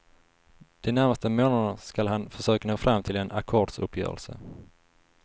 De närmaste månaderna skall han försöka nå fram till en ackordsuppgörelse.